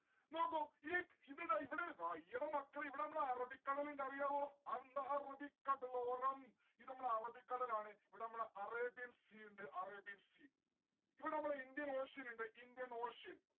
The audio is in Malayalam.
നോക്കൂ, ഈ ഇത് ടാ ഇവിടെ അയ്യടാ മക്കളെ ഇവിടെ നമ്മള അറബിക്കടലിണ്ട് അറിയാവോ ഇത് നമ്മളെ അറബിക്കടലാണ് ഇവിടെ നമ്മള arabian sea ഇണ്ട് arabian sea ഇവിടെ നമ്മളെ indian ocean ഇണ്ട് indian ocean